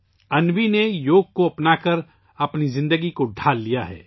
انوی نے یوگ کو اپنایا اور زندگی کو اپنایا